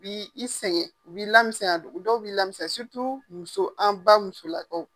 Bi i sɛgɛn u bi lamisɛnya dɔw b'i lamisɛnya muso an ba musolakaw.